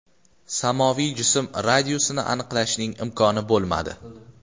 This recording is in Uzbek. Samoviy jism radiusini aniqlashning imkoni bo‘lmadi.